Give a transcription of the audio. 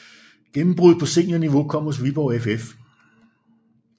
Gennembruddet på seniorniveau kom hos Viborg FF